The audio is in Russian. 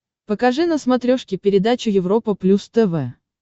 покажи на смотрешке передачу европа плюс тв